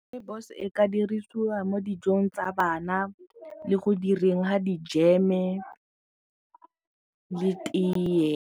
Rooibos e ka dirisiwa mo dijong tsa bana le go direng ga di-jam-e le tee.